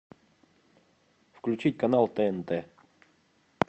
включить канал тнт